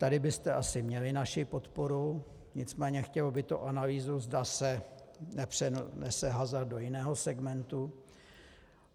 Tady byste asi měli naši podporu, nicméně chtělo by to analýzu, zda se nepřenese hazard do jiného segmentu.